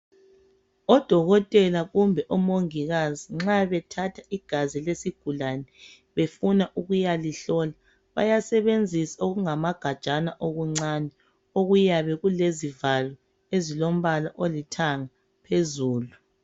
Odokotela kumbe omongikazi nxa bethatha igazi lesigulane befuna ukuyalihlola bayasebenzisa okungamagajana okuncane okuyabe kulezivalo ezilombala olithanga phezulu